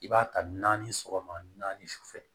I b'a ta naani sɔgɔma naani sufɛ